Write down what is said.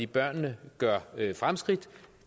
børnene gør fremskridt